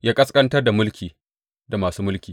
Ya ƙasƙantar da mulki da masu mulki.